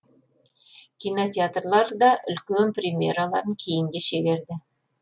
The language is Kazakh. кинотеатрлар да үлкен премьераларын кейінге шегерді